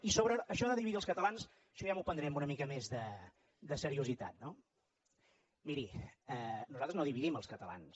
i sobre això de dividir els catalans això ja m’ho prendré amb una mica més de seriositat no miri nosaltres no dividim els catalans